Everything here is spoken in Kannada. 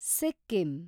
ಸಿಕ್ಕಿಂ